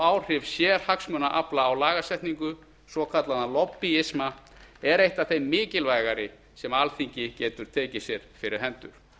áhrif sérhagsmunaafla á lagasetningu svokallaðan lobbíisma er eitt af þeim mikilvægari sem alþingi getur tekið sér fyrir hendur